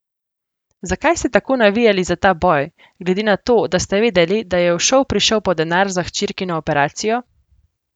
Zakaj ste tako navijali za ta boj, glede na to, da ste vedeli, da je v šov prišel po denar za hčerkino operacijo?